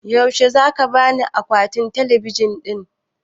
Yaushe zaka bani akwatin talabijin ɗin?